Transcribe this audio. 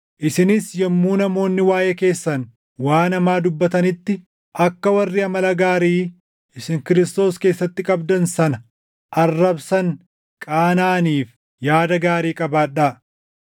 isinis yommuu namoonni waaʼee keessan waan hamaa dubbatanitti akka warri amala gaarii isin Kiristoos keessatti qabdan sana arrabsan qaanaʼaniif yaada gaarii qabaadhaa.